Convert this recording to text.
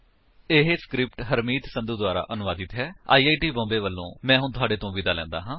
ਇਹ ਸਕਰਿਪਟ ਹਰਮੀਤ ਸੰਧੂ ਦੁਆਰਾ ਅਨੁਵਾਦਿਤ ਹੈਆਈ ਆਈ ਟੀ ਬੌਮਬੇ ਵਲੋਂ ਮੈਂ ਹੁਣ ਤੁਹਾਡੇ ਤੋਂ ਵਿਦਾ ਲੈਂਦਾ ਹਾਂ